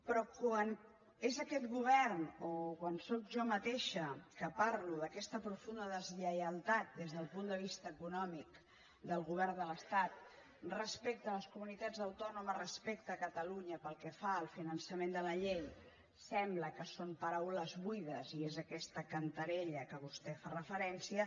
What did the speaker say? però quan és aquest govern o quan sóc jo mateixa que parlo d’aquesta profunda deslleialtat des del punt de vista econòmic del govern de l’estat respecte a les comunitats autònomes respecte a catalunya pel que fa al finançament de la llei sembla que són paraules buides i és aquesta cantarella a què vostè fa referència